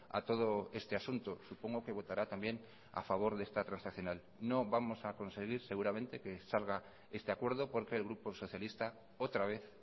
a todo este asunto supongo que votará también a favor de esta transaccional no vamos a conseguir seguramente que salga este acuerdo porque el grupo socialista otra vez